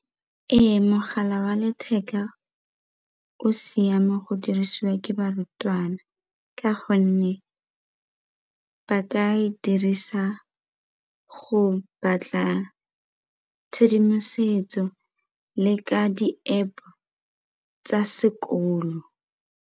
Ee, mogala wa letheka o siame go dirisiwa ke barutwana ka gonne ba ka e dirisa go batla tshedimosetso le ka di-App tsa sekolo.